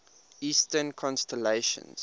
eastern constellations